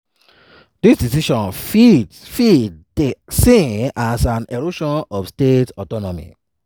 "dis decision fit fit dey seen as an erosion of state autonomy.